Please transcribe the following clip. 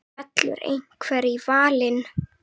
Fellur einhver í valinn?